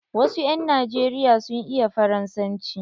Wasu 'yan najeriya sun iya Faransanci.